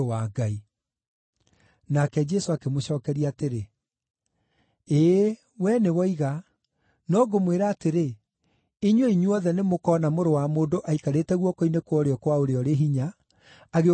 Nake Jesũ akĩmũcookeria atĩrĩ, “Ĩĩ, wee nĩwoiga, no ngũmwĩra atĩrĩ, inyuĩ inyuothe nĩmũkona Mũrũ wa Mũndũ aikarĩte guoko-inĩ kwa ũrĩo kwa Ũrĩa-ũrĩ-Hinya, agĩũka arĩ igũrũ rĩa matu.”